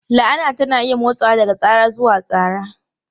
La'ana tana iya motsawa daga tsara zuwa tsara.